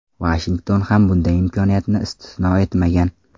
Vashington ham bunday imkoniyatni istisno etmagan.